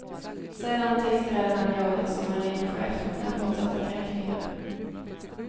Sedan tillträdde han jobbet som marinchef med fortsatta kränkningar.